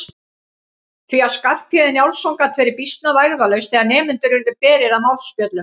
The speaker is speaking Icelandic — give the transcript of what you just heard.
Því að Skarphéðinn Njálsson gat verið býsna vægðarlaus þegar nemendur urðu berir að málspjöllum.